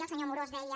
el senyor amorós deia